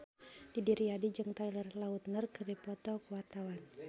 Didi Riyadi jeung Taylor Lautner keur dipoto ku wartawan